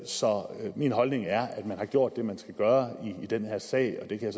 så min holdning er at man har gjort det man skulle gøre i den her sag og det kan